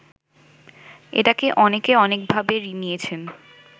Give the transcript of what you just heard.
এটাকে অনেকে অনেকভাবে নিয়েছেন